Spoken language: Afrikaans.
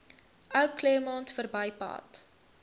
ou claremont verbypad